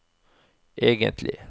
egentlig